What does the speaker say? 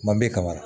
Manden kamanan